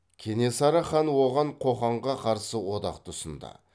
кенесары хан оған қоқанға қарсы одақты ұсынды